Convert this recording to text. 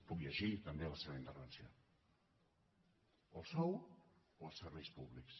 puc llegir també la seva intervenció o el sou o els serveis públics